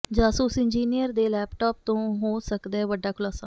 ਜਾਸੂਸ engineer ਦੇ laptop ਤੋਂ ਹੋ ਸਕਦੈ ਵੱਡਾ ਖ਼ੁਲਾਸਾ